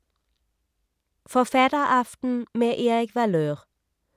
Forfatteraften med Erik Valeur